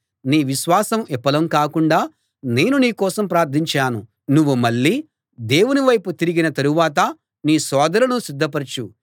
నీ విశ్వాసం విఫలం కాకుండా నేను నీ కోసం ప్రార్థించాను నువ్వు మళ్ళీ దేవుని వైపు తిరిగిన తరువాత నీ సోదరులను స్థిరపరచు